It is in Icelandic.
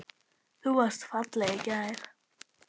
Þú varst falleg í gær.